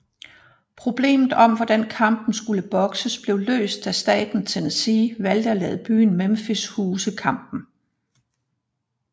Problemet om hvor kampen skulle bokses blev løst da staten Tennessee valgte at lade byen Memphis huse kampen